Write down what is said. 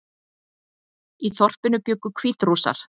Í þorpinu bjuggu Hvítrússar